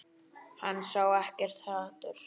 Hann sá ekkert hatur.